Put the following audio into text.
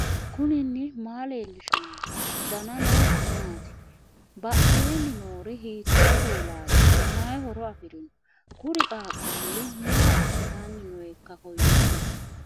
knuni maa leellishanno ? danano maati ? badheenni noori hiitto kuulaati ? mayi horo afirino ? kuri qaaqulli maa assanni nooikka kowiicho